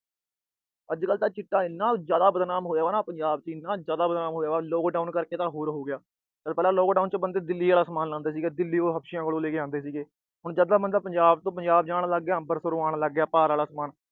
ਅੱਜ-ਕੱਲ੍ਹ ਤਾਂ ਚਿੱਟਾ ਇੰਨਾ ਜਿਆਦਾ ਬਦਨਾਮ ਹੋਇਆ, ਇੰਨਾ ਜਿਆਦਾ ਬਦਨਾਮ ਹੋਇਆ ਨਾ ਪੰਜਾਬ ਚ, ਆਹ lockdown ਕਰਕੇ ਤਾਂ ਹੋਰ ਹੋ ਗਿਆ। lockdown ਤੋਂ ਪਹਿਲਾਂ ਲੋਕ ਦਿੱਲੀ ਤੋਂ ਸਮਾਨ ਲੈਂਦੇ ਸੀ, ਦਿੱਲੀ ਤੋਂ ਹਪਸ਼ਿਆਂ ਤੋਂ ਲੈ ਕੇ ਆਉਂਦੇ ਸੀਗੇ, ਹੁਣ ਜਦ ਬੰਦਾ ਪੰਜਾਬ ਤੋਂ ਪੰਜਾਬ ਜਾਣ ਲੱਗ ਪਿਆ, ਅੰਬਰਸਰੋਂ ਆਣ ਲੱਗ ਪਿਆ ਪਾਰ ਆਲਾ ਸਮਾਨ।